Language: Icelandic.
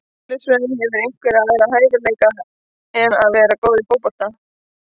Eðlisfræði Hefurðu einhverja aðra hæfileika en að vera góð í fótbolta?